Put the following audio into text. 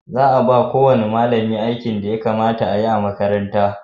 Za a ba ko wani malami aikin da ya kamata a yi a makarantan